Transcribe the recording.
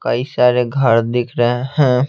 कई सारे घर दिख रहे हैं।